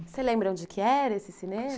Você lembra onde que era esse cinema?